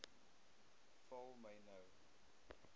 val my nou